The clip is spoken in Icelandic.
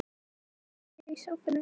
Hún kinkar kolli í sófanum.